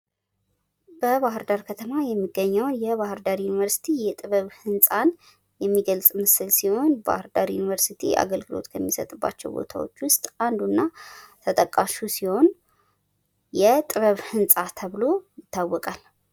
በባህርዳር ከተማ የሚገኘዉ የባህርዳር ዩኒቨርስቲ የጥበብ ህንፃን የሚገልፅ ምስል ሲሆን ባህርዳር ዩኒቨርስቲ አገልግሎት ከሚሰጥባቸዉ ቦታዎች ዉስጥ አንዱና ተጠቃሹ ሲሆን የጥበብ ህንፃ ተብሎ ይታወቃል።